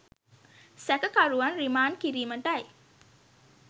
සැකකරුවන් රිමාන්ඩ් කිරීමටයි.